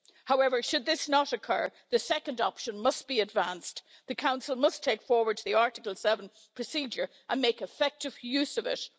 However, should this not occur, the second option must be advanced the Council must take forward the Article 7 procedure and make effective use of it.